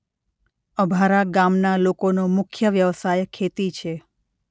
અભારા ગામના લોકોનો મુખ્ય વ્યવસાય ખેતી છે.